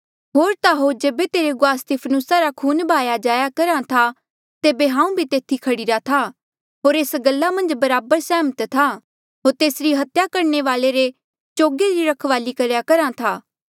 होर ता होर जेबे तेरे गुआह स्तिफनुसा रा खून बहाया जाया करहा था तेबे हांऊँ भी तेथी खड़ीरा था होर एस गल्ला मन्झ बराबर सैहमत था होर तेसरी हत्या करणे वाले रे चोगे री रखवाली करेया करहा था